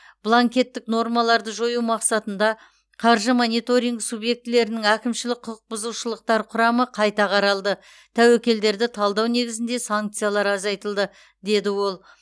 бланкеттік нормаларды жою мақсатында қаржы мониторингі субъектілерінің әкімшілік құқық бұзушылықтар құрамы қайта қаралды тәуекелдерді талдау негізінде санкциялар азайтылды деді ол